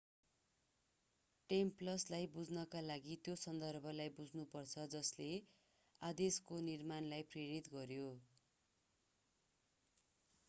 टेम्प्ल्रसलाई बुझ्नका लागि त्यो सन्दर्भलाई बुझ्नुपर्छ जसले आदेशको निर्माणलाई प्रेरित गर्‍यो।